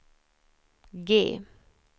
G